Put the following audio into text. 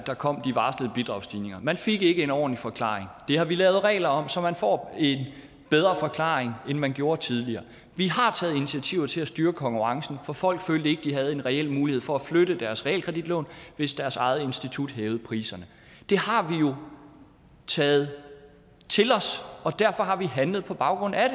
der kom de varslede bidragsstigninger man fik ikke en ordentlig forklaring men det har vi lavet regler om så man får en bedre forklaring end man gjorde tidligere vi har taget initiativer til at styre konkurrencen for folk følte ikke de havde en reel mulighed for at flytte deres realkreditlån hvis deres eget institut hævede priserne det har vi jo taget til os og derfor har vi handlet på baggrund af